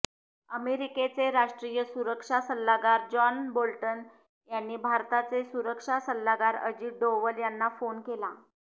अमेरिकेचे राष्ट्रीय सुरक्षा सल्लागार जॉन बोल्टन यांनी भारताचे सुरक्षा सल्लागार अजित डोवल यांना फोन केला